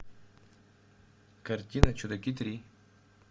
картина чудаки три